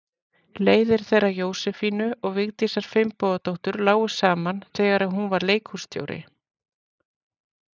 Leiðir þeirra Jósefínu og Vigdísar Finnbogadóttur lágu saman þegar hún var leikhússtjóri.